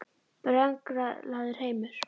Brenglaður heimur?